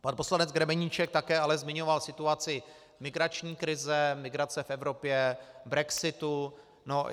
Pan poslanec Grebeníček také ale zmiňoval situaci migrační krize, migrace v Evropě, brexitu.